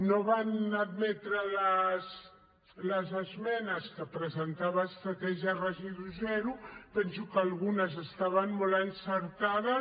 no van admetre les esmenes que hi va presentar estratègia residu zero i penso que algunes estaven molt encertades